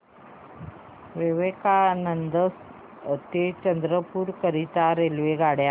विवेकानंद नगर ते चंद्रपूर करीता रेल्वेगाड्या